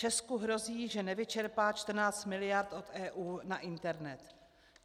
Česku hrozí, že nevyčerpá 14 mld. od EU na internet.